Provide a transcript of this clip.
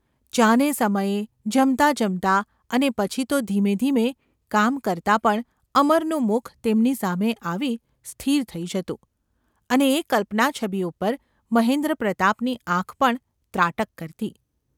ચાને સમયે, જમતાં જમતાં અને પછી તો ધીમે ધીમે કામ કરતાં પણ અમરનું મુખ તેમની સામે આવી સ્થિર થઈ જતું, અને એ કલ્પના છબી ઉપર મહેન્દ્રપ્રતાપની આંખ પણ ત્રાટક કરતી.